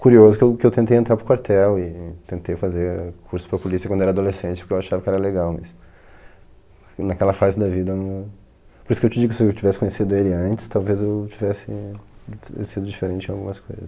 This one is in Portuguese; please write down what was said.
Curioso que eu que eu tentei entrar para o quartel e tentei fazer curso para a polícia quando era adolescente porque eu achava que era legal, mas naquela fase da vida não... Por isso que eu te digo que se eu tivesse conhecido ele antes, talvez eu tivesse sido diferente em algumas coisas.